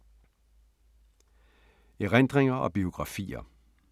Erindringer og biografier